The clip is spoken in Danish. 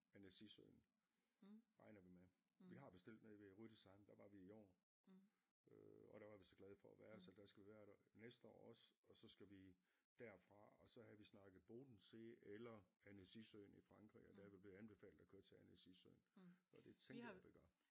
Annecy søen regner vi med vi har bestilt nede ved Rue de Seins der var vi i år øh og der var vi så glade for at være så der skal vi være der næste år også og så skal vi derfra og så havde vi snakket Bodensee eller Annecy søen i Frankrig og der er vi blevet anbefalet at køre til Annecy søen og det tænker jeg vi gør